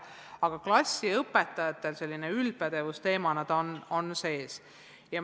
Aga klassiõpetajatel on see üldpädevuse teemana sees.